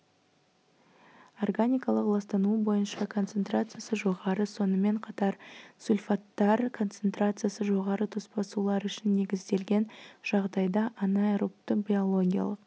органикалық ластануы бойынша концентрациясы жоғары сонымен қатар сульфаттар концентрациясы жоғары тоспа сулар үшін негізделген жағдайда анаэробты биологиялық